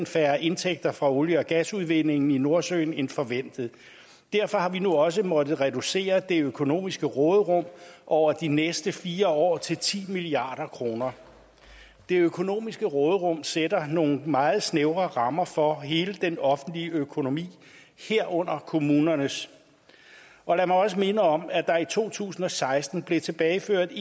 færre indtægter fra olie og gasudvindingen i nordsøen end forventet derfor har vi nu også måttet reducere det økonomiske råderum over de næste fire år til ti milliard kroner det økonomiske råderum sætter nogle meget snævre rammer for hele den offentlige økonomi herunder kommunernes og lad mig også minde om at der i to tusind og seksten blev tilbageført